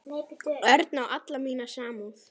Örn á alla mína samúð.